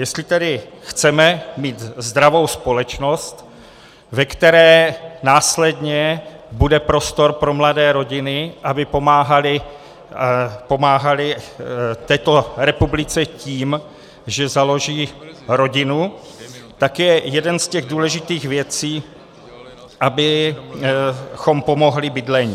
Jestli tedy chceme mít zdravou společnost, ve které následně bude prostor pro mladé rodiny, aby pomáhaly této republice tím, že založí rodinu, tak je jedna z těch důležitých věcí, abychom pomohli bydlení.